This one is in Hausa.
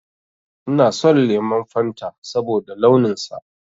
Ina son lemon Fanta saboda launin sa